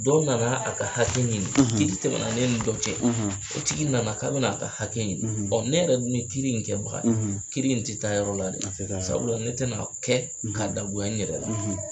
Dɔ nana a ka hakɛ ɲini, kiri tɛmɛna ne ni dɔ cɛ, , o tigi nana k'a bɛn'a ka hakɛ ɲini, ne yɛrɛ min kiri in kɛbaga ye, , kiri in tɛ taa yɔrɔ la dɛ, a tɛ taa yɔrɔ la, sabula ne tɛna n'a kɛ, , k'a dagoya n yɛrɛ la.